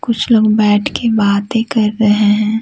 कुछ लोग बैठ के बातें कर रहे हैं।